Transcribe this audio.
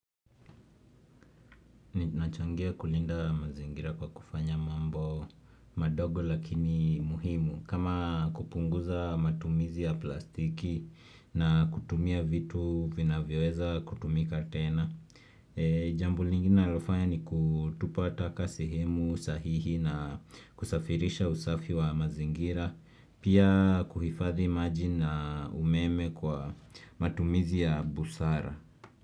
Ninachangia kulinda mazingira kwa kufanya mambo madogo lakini muhimu kama kupunguza matumizi ya plastiki na kutumia vitu vinavyoweza kutumika tena. Jambo lingine nalofanya ni kutupa taka sehemu sahihi na kusafirisha usafi wa mazingira pia kuhifadhi maji na umeme kwa matumizi ya busara.